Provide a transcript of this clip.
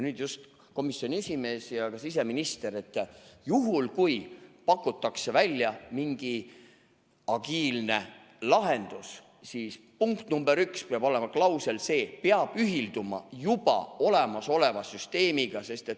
Nüüd, komisjoni esimees ja ka siseminister, juhul kui pakutakse välja mingi agiilne lahendus, siis punkt nr 1 peaks olema see klausel: peab ühilduma juba olemasoleva süsteemiga.